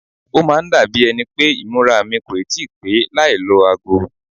Ó máa ń dàbí ẹni pé ìmúra mi kò ì tí pè é láì lọ ago.